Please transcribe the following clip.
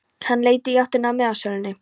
Hann leit í áttina að miðasölunni.